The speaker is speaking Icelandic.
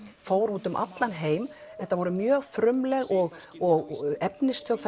fór út um allan heim þetta var mjög frumlegt og og efnistök